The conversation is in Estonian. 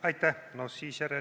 Aitäh!